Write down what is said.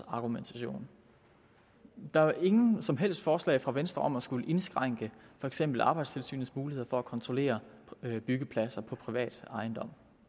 argumentation der er jo ingen som helst forslag fra venstre om at indskrænke for eksempel arbejdstilsynets muligheder for at kontrollere byggepladser på privat ejendom